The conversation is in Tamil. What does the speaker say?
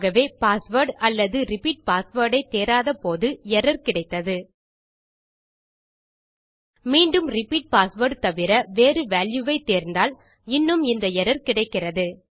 ஆகவே பாஸ்வேர்ட் அல்லது ரிப்பீட் பாஸ்வேர்ட் ஐ தேராதபோது எர்ரர் கிடைத்தது மீண்டும் ரிப்பீட் பாஸ்வேர்ட் தவிர வேறு வால்யூ ஐ தேர்ந்தால் இன்னும் இந்த எர்ரர் கிடைக்கிறது